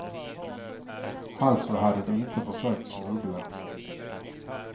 Alltså hade de inte försökt smuggla.